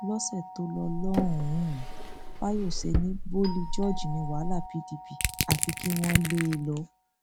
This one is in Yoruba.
lọsẹ tó lọ lọhùnún fayose ní boli george ní wàhálà pdp àfi kí àwọn lé e lọ